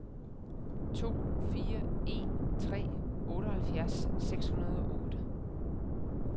to fire en tre otteoghalvfjerds seks hundrede og otte